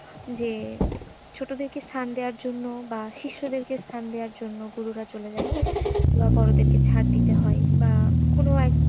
যে ছোট থেকে স্থান দেওয়ার জন্য বা শিষ্য দের কে স্থান দেওয়ার জন্য গুরুরা চলে যায় বা বড়ো দের কে ছাড় দিতে হয়। বা কোনো এক,